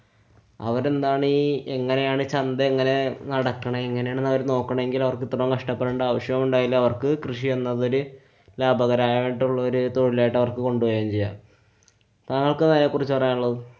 അവരെന്താണീ. എങ്ങനെയാണ് ചന്ത എങ്ങനെ നടക്കണേ? എങ്ങനെയാണ് അവര് നോക്കണേല്‍ അവര്‍ക്ക് ഇത്രോം കഷ്ട്ടപ്പെടെണ്ട ആവശ്യം ഉണ്ടായില്ല. കൃഷി എന്നതില് ലാഭകരം ആയിട്ടുള്ലോരൂ തൊഴിലായിട്ടു അവര്‍ക്ക് കൊണ്ടു പോവേം ചെയ്യാം. താങ്കള്‍ക്കെന്താ അതിനെ കുറിച്ചു പറയാനുള്ളത്?